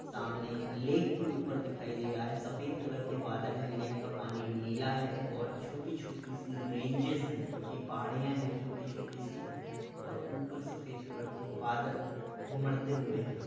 सामने लेक के ऊपर दिखाई दे रहा है। सफ़ेद कलर के बादल है लेक पानी नीला है और छोटी- छोटी -सी रेंजेस है जोकि पहाड़ियाँ है छोटी-छोटी- सी और ऊपर सफेद कलर के बादल घुमड़ते हुए हैं।